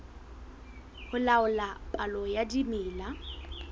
ho laola palo ya dimela